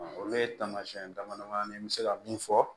Olu ye taamasiyɛn damadama n bɛ se ka mun fɔ